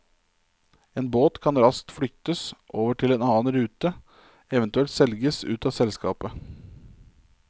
En båt kan raskt flyttes over til en annen rute, eventuelt selges ut av selskapet.